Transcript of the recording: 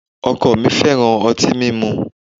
O̩ko̩ mi fe̩ran o̩ti mimu